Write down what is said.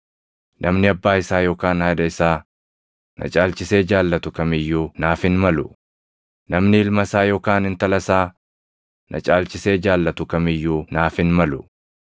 “Namni abbaa isaa yookaan haadha isaa na caalchisee jaallatu kam iyyuu naaf hin malu; namni ilma isaa yookaan intala isaa na caalchisee jaallatu kam iyyuu naaf hin malu.